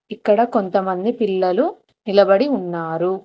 ఇక్కడ కొంతమంది పిల్లలు నిలబడి ఉన్నారు.